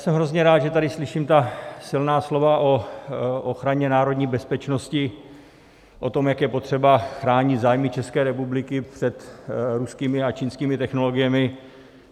Jsem hrozně rád, že tady slyším ta silná slova o ochraně národní bezpečnosti, o tom, jak je potřeba chránit zájmy České republiky před ruskými a čínskými technologiemi.